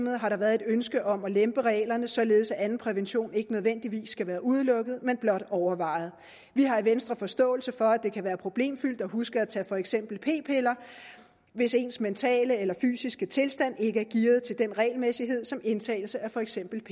har der været et ønske om at lempe reglerne således at anden prævention ikke nødvendigvis skal være udelukket men blot overvejet vi har i venstre forståelse for at det kan være problemfyldt at huske at tage for eksempel p piller hvis ens mentale eller fysiske tilstand ikke er gearet til den regelmæssighed som indtagelse af for eksempel